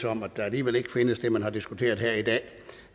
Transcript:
om at der alligevel ikke findes det man har diskuteret her i dag og